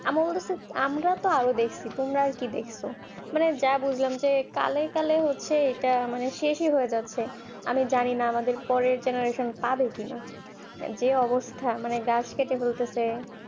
আমরা তো আরো দেখছি তোমরা আর কি দেখছো মানে যা বুঝলাম যে কালো কালো হচ্ছে এটা শেষ হয়ে যাচ্ছে আমি জানিনা আমাদের পরের generation পাবে কিনা যে অবস্থায় যে গাছ কেটে দিচ্ছে